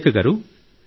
సురేఖ గారూ